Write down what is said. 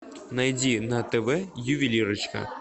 найди на тв ювелирочка